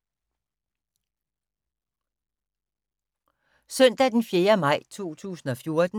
Søndag d. 4. maj 2014